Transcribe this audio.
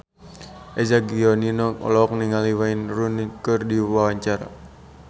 Eza Gionino olohok ningali Wayne Rooney keur diwawancara